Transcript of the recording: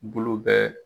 Bulu bɛ